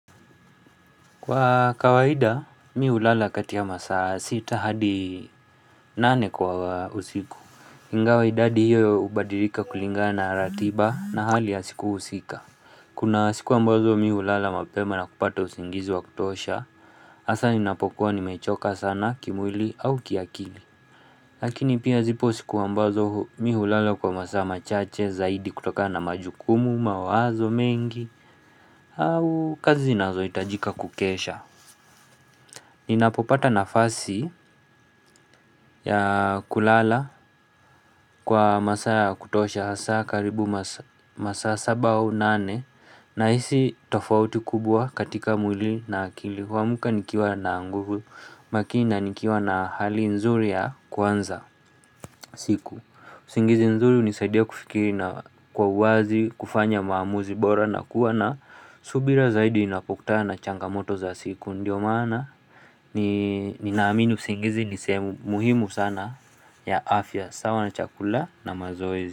Kwa kawaida, mimi hulala kati ya masaa sita hadi nane kwa usiku. Ingawa idadi hiyo hubadilika kulingana na ratiba na hali ya siku husika. Kuna siku ambazo mimi hulala mapema na kupata usingizi wa kutosha, hasa ninapokuwa nimechoka sana kimwili au kiakili. Lakini pia zipo siku ambazo mimi hulala kwa masaa machache zaidi kutokana na majukumu, mawazo mengi au kazi zinazo hitajika kukesha. Ninapopata nafasi ya kulala kwa masaa ya kutosha, hasa karibu masaa saba au nane, nahisi tofauti kubwa katika mwili na akili. Huamka nikiwa na nguvu, huamka nikiwa na hali nzuri ya kuanza siku. Usingizi nzuri hunisaidia kufikiri na kwa uwazi, kufanya maamuzi bora, na kuwa na subira zaidi inapokutana na changamoto za siku. Ndiyo maana ninaamini usingizi ni sehemu muhimu sana ya afya, sawa na chakula na mazoezi.